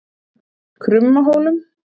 Krummahólum